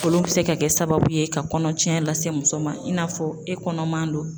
Olu bɛ se ka kɛ sababu ye ka kɔnɔcɛ lase muso ma, i n'a fɔ e kɔnɔman don.